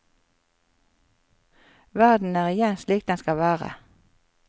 Verden er igjen slik den skal være.